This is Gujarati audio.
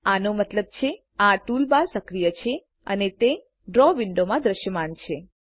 આનો મતલબ છે આ ટૂલબાર સક્રિય છે અને તે ડ્રો વિન્ડોવમાં દ્રશ્યમાન છે